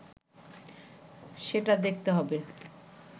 সেটা দেখতে হবে